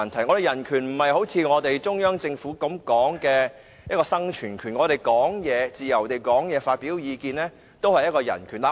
我說的人權並不是中央政府所說的生存權，我們可以自由發表意見，也是一種人權。